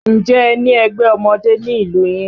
Ǹjẹ́ ẹ ní ẹgbẹ́ ọmọdé ní ìlú yín?